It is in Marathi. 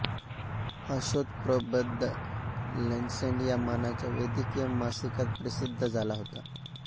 हा शोधप्रबंध लॅन्सेट या मानाच्या वैद्यकीय मासिकात प्रसिद्ध झाला होता